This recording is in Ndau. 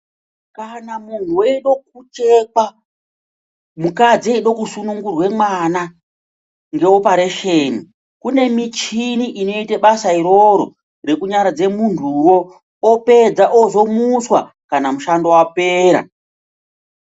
Kana munhu weide kuchekwa mukadzi eide kusunungurwe mwana ngeoparesheni kune michini inoite basa iroro rekunyaradza muntuwo opedza ozomuswa kana mushando wapera.